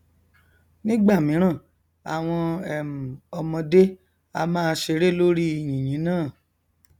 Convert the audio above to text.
nígbàmíràn àwọn um ọmọdé á máa ṣeré lórí i yìnyín náà